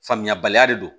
Faamuyabaliya de don